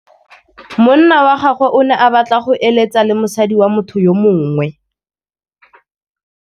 Monna wa gagwe o ne a batla go êlêtsa le mosadi wa motho yo mongwe.